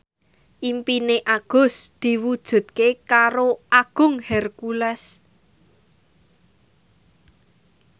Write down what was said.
impine Agus diwujudke karo Agung Hercules